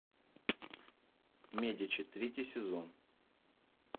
медичи третий сезон